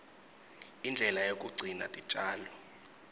indlela yekugcina titjalo